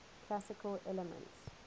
classical elements